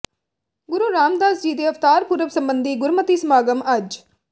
ਗੁਰੂ ਰਾਮਦਾਸ ਜੀ ਦੇ ਅਵਤਾਰ ਪੁਰਬ ਸਬੰਧੀ ਗੁਰਮਤਿ ਸਮਾਗਮ ਅੱਜ